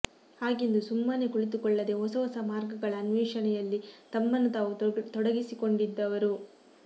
ಹಾಗೆಂದು ಸುಮ್ಮನೆ ಕುಳಿತುಕೊಳ್ಳದೆ ಹೊಸಹೊಸ ಮಾರ್ಗಗಳ ಅನ್ವೇಷಣೆಯಲ್ಲಿ ತಮ್ಮನ್ನು ತಾವು ತೊಡಗಿಸಿಕೊಡಿದ್ದವರು